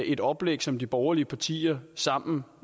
et oplæg som de borgerlige partier sammen